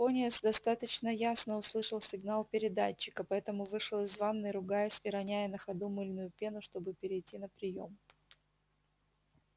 пониетс достаточно ясно услышал сигнал передатчика поэтому вышел из ванной ругаясь и роняя на ходу мыльную пену чтобы перейти на приём